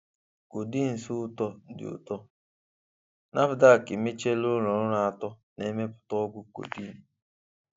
codeines ụtọ dị ụtọ: Nafdac emechiela ụlọ ọrụ atọ na-emepụta ọgwụ codeine.